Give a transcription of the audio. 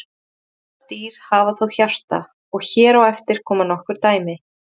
Langflest dýr hafa þó hjarta og hér á eftir koma nokkur dæmi.